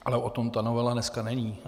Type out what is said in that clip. Ale o tom ta novela dneska není.